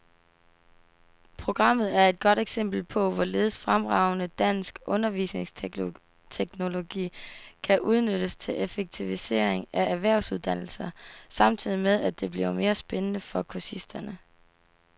Programmet er et godt eksempel på, hvorledes fremragende dansk undervisningsteknologi kan udnyttes til effektivisering af erhvervsuddannelser samtidig med, at det bliver mere spændende for kursisterne.